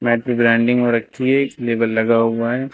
यहां पे ब्रांडिंग और अच्छी है इस लेवल लगा हुआ है।